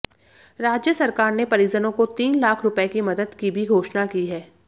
राज्य सरकार ने परिजनों को तीन लाख रुपये की मदद की भी घोषणा की है